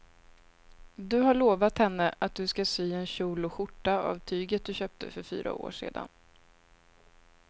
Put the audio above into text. Du har lovat henne att du ska sy en kjol och skjorta av tyget du köpte för fyra år sedan.